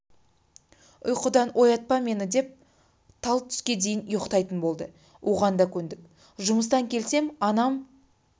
ұйқыдан оятпа мені деп тал түске дейін ұйықтайтын болды оған да көндік жұмыстан келсем анам